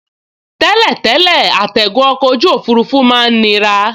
Tẹ́lẹ̀tẹ́lẹ̀ àtigun ọkọ̀ ojú òfurufú máa n nira